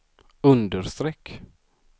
understreck